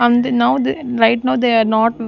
right now they are not --